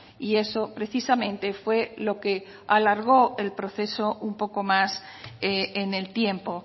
y eso precisamente fue lo que alargó el proceso un poco más en el tiempo